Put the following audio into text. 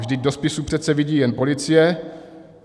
Vždyť do spisu přece vidí jen policie.